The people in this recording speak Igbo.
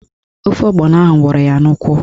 Ofe ọgbọnọ ahụ wụrụ ya n'ụkwụ